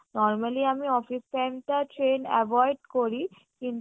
normally আমি office time টা train avoid করি কিন্তু